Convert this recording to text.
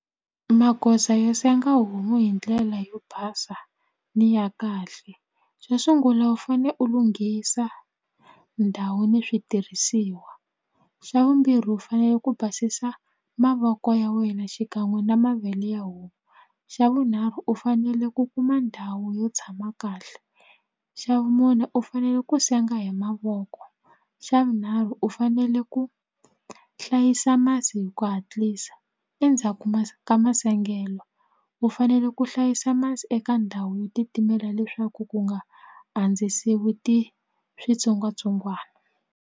Magoza yo senga homu hi ndlela yo basa ni ya kahle xo sungula u fane u lunghisa ndhawu ni switirhisiwa xa vumbirhi u fanele ku basisa mavoko ya wena xikan'we na mavele ya homu xa vunharhu u fanele ku kuma ndhawu yo tshama kahle xa vumune u fanele ku senga hi mavoko xa vunharhu u fanele ku hlayisa masi hi ku hatlisa endzhaku ma ka masengelo u fanele ku hlayisa masi eka ndhawu yo titimela leswaku ku nga andzisiwi ti switsongwatsongwana.